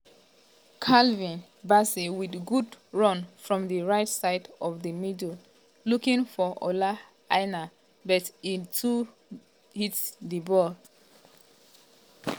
calvin bassey wit good run from di right side of di di middle looking for ola aina but e too hit di ball.